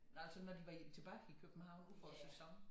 Altså når de var tilbage i København udefor æ sæson